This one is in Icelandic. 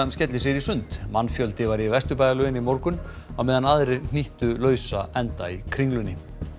skelli sér í sund mannfjöldi var í Vesturbæjarlauginni í morgun á meðan aðrir hnýttu lausa enda í Kringlunni